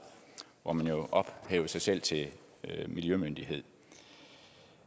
hvor man ophæver sig selv til miljømyndighed